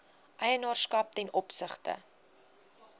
eienaarskap ten opsigte